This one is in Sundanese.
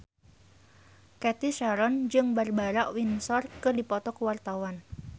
Cathy Sharon jeung Barbara Windsor keur dipoto ku wartawan